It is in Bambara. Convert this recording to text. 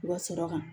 U ka sɔrɔ kan